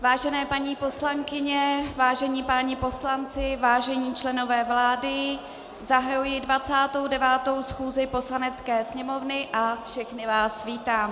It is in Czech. Vážené paní poslankyně, vážení páni poslanci, vážení členové vlády, zahajuji 29. schůzi Poslanecké sněmovny a všechny vás vítám.